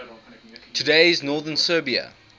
today's northern serbia